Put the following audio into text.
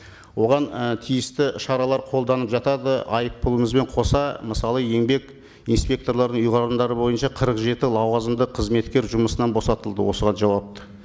оған і тиісті шаралар қолданып жатады айыппұлымызбен қоса мысалы еңбек инспекторларының ұйғарымдары бойынша қырық жеті лауазымды қызметкер жұмысынан босатылды осыған жауапты